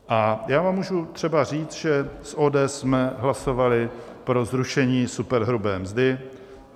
A já vám můžu třeba říct, že s ODS jsme hlasovali pro zrušení superhrubé mzdy.